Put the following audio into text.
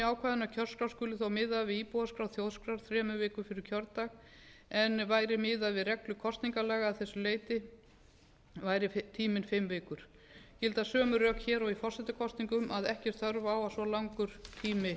ákvæðinu að kjörskrá skuli þó miðuð við íbúaskrá þjóðskrár þremur vikum fyrir kjördag en væri miðað við reglur kosningalaga að þessu leyti væri tíminn fimm vikur gilda sömu rök hér og í forsetakosningum að ekki er þörf á að svona langur tími